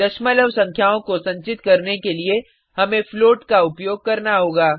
दशमलव संख्याओं को संचित करने के लिए हमें फ्लोट का उपयोग करना होगा